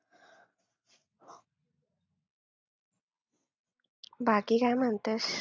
बाकी काय म्हणतेस?